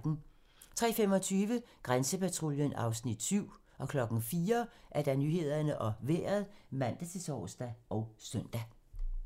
03:25: Grænsepatruljen (Afs. 7) 04:00: Nyhederne og Vejret (man-tor og søn)